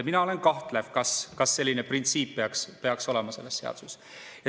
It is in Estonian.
Mina olen kahtlev, kas selline printsiip peaks olema selles seaduses.